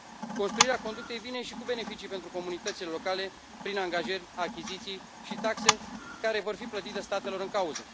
Construirea conductei vine și cu beneficii pentru comunitățile locale, prin angajări, achiziții și taxe care vor fi plătite statelor în cauză.